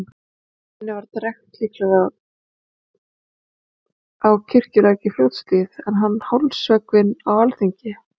Henni var drekkt, líklega við á Kirkjulæk í Fljótshlíð, en hann hálshöggvinn á alþingi.